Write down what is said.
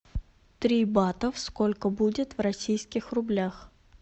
три батов сколько будет в российских рублях